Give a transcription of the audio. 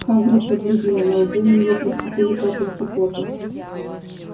хагрид побледнел на лбу у него проступили капельки пота